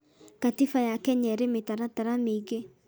Katiba ya Kenya ĩrĩ mĩtaratatara mĩingĩ